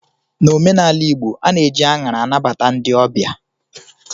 N'omenala igbo, a na-eji anyara anabata ndị ọbịa